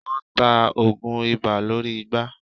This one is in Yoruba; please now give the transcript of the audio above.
Wọ́n ta oògùn ibà lórí igbá.